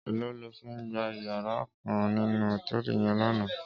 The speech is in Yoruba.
Éló ló fi gbá iyàrá kán ninú hótèlí yèn làná?